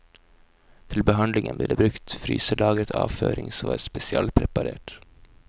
Til behandlingen ble det brukt brukt fryselagret avføring som var spesialpreparert.